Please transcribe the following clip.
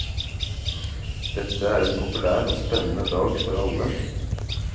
Dette er en populær og spennende dag for alle.